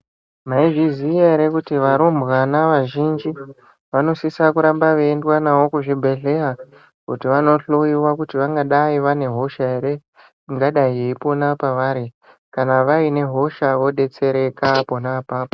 Mwaizviziya ere kuti varumbwana vazhinji vanosise kuramba vaiendwa navo kuzvibhedhlera kuti vandohloyiwa kuti vangadayi vane hoshe ere ingadayi yeipona pavari. Kana vaine hosha vodetsereka pona apapo.